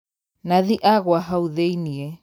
Nathi agũa hau thĩiniĩ.